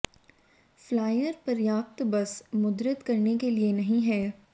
flyer पर्याप्त बस मुद्रित करने के लिए नहीं है